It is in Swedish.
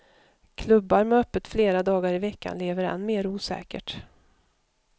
Klubbar med öppet flera dagar i veckan lever än mer osäkert.